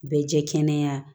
Bɛ jɛ kɛnɛya